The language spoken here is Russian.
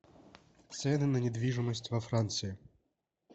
цены на недвижимость во франции